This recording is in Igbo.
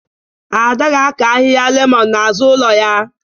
Ada ga-akọ ahịhịa lemọn n'azụ ụlọ ya